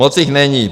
Moc jich není.